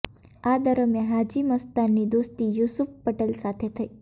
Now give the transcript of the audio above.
આ દરમિયાન હાજી મસ્તાનની દોસ્તી યૂસુફ પટેલ સાથે થઈ